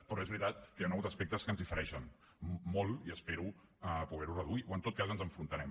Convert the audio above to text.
però és veritat que hi han hagut aspectes que ens difereixen molt i espero poder ho reduir o en tot cas ens enfrontarem